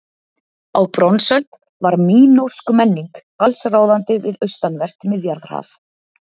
Á bronsöld var mínósk menning allsráðandi við austanvert Miðjarðarhaf.